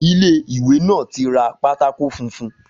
Ilé ìwé náà tí ra pátákó funfun